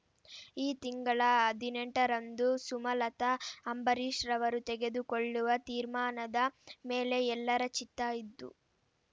ಈ ತಿಂಗಳ ಹದಿನೆಂಟರಂದು ಸುಮಲತಾ ಅಂಬರೀಷ್ ರವರು ತೆಗೆದುಕೊಳ್ಳುವ ತೀರ್ಮಾನದ ಮೇಲೆ ಎಲ್ಲರ ಚಿತ್ತ ಇದ್ದು